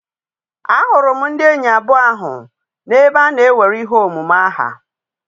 A hụrụ ndị enyi abụọ ahụ n'ebe a na-ewere ihe omume aha.